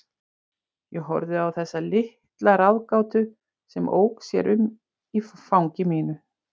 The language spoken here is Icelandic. Ég horfði á þessa litla ráðgátu sem ók sér um í fangi mínu.